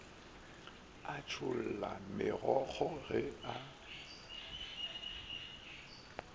a tšholla megokgo ge a